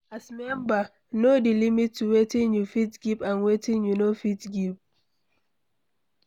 As member, know di limit to wetin you fit give and wetin you no fit give